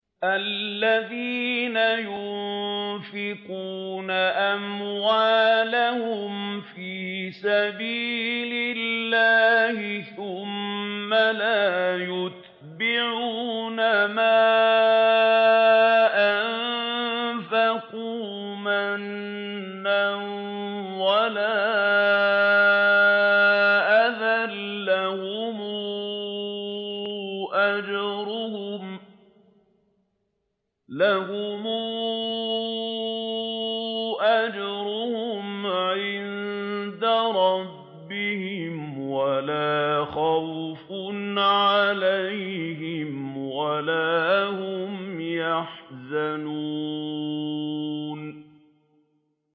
الَّذِينَ يُنفِقُونَ أَمْوَالَهُمْ فِي سَبِيلِ اللَّهِ ثُمَّ لَا يُتْبِعُونَ مَا أَنفَقُوا مَنًّا وَلَا أَذًى ۙ لَّهُمْ أَجْرُهُمْ عِندَ رَبِّهِمْ وَلَا خَوْفٌ عَلَيْهِمْ وَلَا هُمْ يَحْزَنُونَ